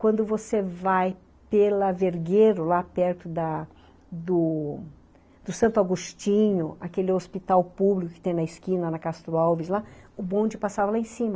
Quando você vai pela Vergueiro, lá perto da do Santo Agostinho, aquele hospital público que tem na esquina, na Castro Alves, lá, o bonde passava lá em cima.